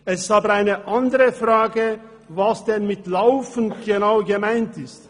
Es ist aber eine andere Frage, was denn genau mit «laufend» gemeint ist.